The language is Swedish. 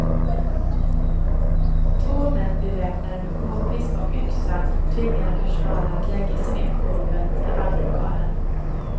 Två män beväpnade med kpist och yxa tvingade personalen att lägga sig ned på golvet i banklokalen.